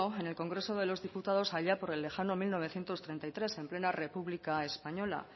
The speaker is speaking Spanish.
en el congreso de los diputados allá por el lejano mil novecientos treinta y tres en plena república española